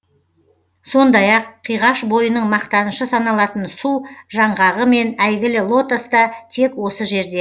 сондай ақ қиғаш бойының мақтанышы саналатын су жаңғағы мен әйгілі лотос та тек осы жерде